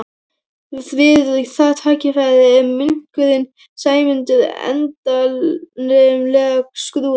Við það tækifæri er munkurinn sæmdur endanlegum skrúða.